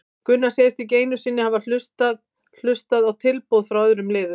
Gunnar segist ekki einu sinni hafa hlustað hlustað á tilboð frá öðrum liðum.